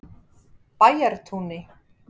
Bæjartúni